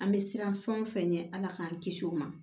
An bɛ siran fɛn o fɛn ɲɛ ala k'an kisi o ma